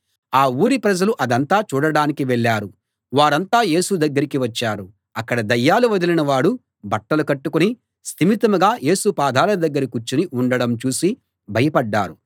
ఆ ఊరి ప్రజలు అదంతా చూడడానికి వెళ్ళారు వారంతా యేసు దగ్గరికి వచ్చారు అక్కడ దయ్యాలు వదిలిన వాడు బట్టలు కట్టుకుని స్థిమితంగా యేసు పాదాల దగ్గర కూర్చుని ఉండడం చూసి భయపడ్డారు